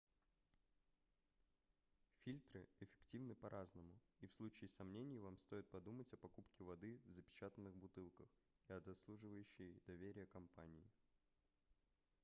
фильтры эффективны по-разному и в случае сомнений вам стоит подумать о покупке воды в запечатанных бутылках и от заслуживающей доверия компании